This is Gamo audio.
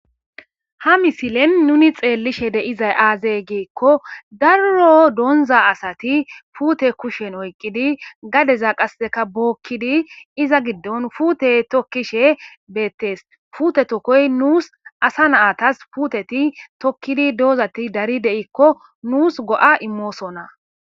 Ha misilen nuni xeellishe deizay aazey geekko darro doonza asati puute kushen oyqqidi gadeza qasseka bookkidi iza giddon fuute tokkishe beettees fute tokkoy nuus asa naatas puuteti tokkidi doozati dari de7ikko nuus go7a immoosonna.